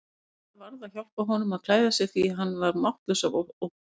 Inga varð að hjálpa honum að klæða sig því hann var máttlaus af ótta.